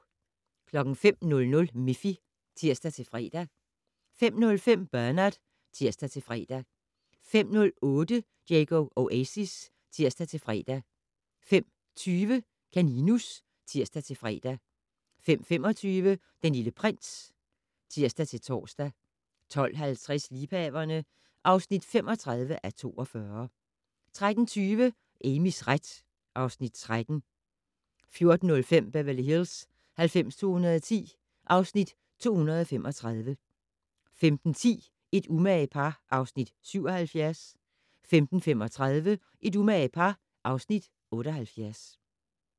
05:00: Miffy (tir-fre) 05:05: Bernard (tir-fre) 05:08: Diego Oasis (tir-fre) 05:20: Kaninus (tir-fre) 05:25: Den Lille Prins (tir-tor) 12:50: Liebhaverne (35:42) 13:20: Amys ret (Afs. 13) 14:05: Beverly Hills 90210 (Afs. 235) 15:10: Et umage par (Afs. 77) 15:35: Et umage par (Afs. 78)